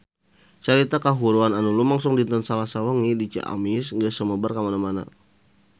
Carita kahuruan anu lumangsung dinten Salasa wengi di Ciamis geus sumebar kamana-mana